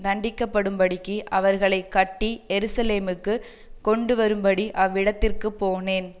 தண்டிக்கப்படும்படிக்கு அவர்களை கட்டி எருசலேமுக்குக் கொண்டுவரும்படி அவ்விடத்திற்குப் போனேன்